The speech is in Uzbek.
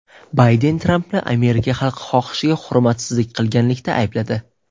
Bayden Trampni Amerika xalqi xohishiga hurmatsizlik qilganlikda aybladi.